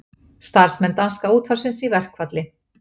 Starfsmenn danska útvarpsins í verkfall